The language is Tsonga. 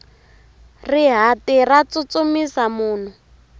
rihati ra tsutsumisa munhu